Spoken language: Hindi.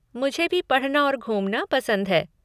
मुझे भी पढ़ना और घूमना पसंद है।